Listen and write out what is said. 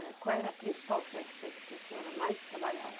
Eh, qual era a principal festa do que a senhora mais trabalhava?